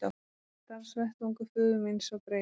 Starfsvettvangur föður míns var breiður.